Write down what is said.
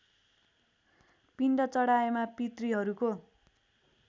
पिण्ड चढाएमा पितृहरूको